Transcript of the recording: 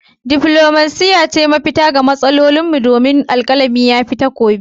Diflomasiya ce mafita ga matsalolinmu domin alkalami ya fi takobi.